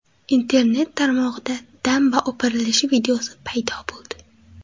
Internet tarmog‘ida damba o‘pirilishi videosi paydo bo‘ldi.